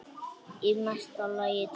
Í mesta lagi tvö.